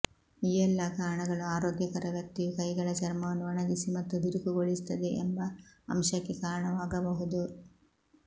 ಈ ಎಲ್ಲಾ ಕಾರಣಗಳು ಆರೋಗ್ಯಕರ ವ್ಯಕ್ತಿಯು ಕೈಗಳ ಚರ್ಮವನ್ನು ಒಣಗಿಸಿ ಮತ್ತು ಬಿರುಕುಗೊಳಿಸುತ್ತದೆ ಎಂಬ ಅಂಶಕ್ಕೆ ಕಾರಣವಾಗಬಹುದು